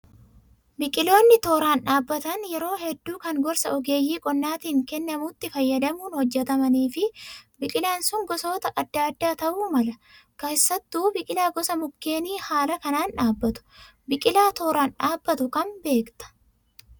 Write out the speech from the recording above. Biqiloonni tooraan dhaabbatan yeroo hedduu kan gorsa ogeeyyii qonnaatiin kennamutti fayyadamuun hojjatamnii fi biqilaan sun gosoota adda addaa ta'uu mala. Keessattuu biqilaa gosa mukkeenii haala kanaan dhaabbatu. Biqilaa tooraan dhaabbatu kam beektaa?